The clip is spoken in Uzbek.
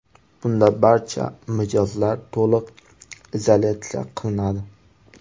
Bunda barcha mijozlar to‘liq izolyatsiya qilinadi.